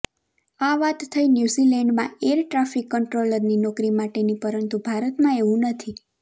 આ વાત થઇ ન્યુઝીલેન્ડમાં એર ટ્રાફિક કંટ્રોલરની નોકરી માટેની પરંતુ ભારતમાં એવું નથી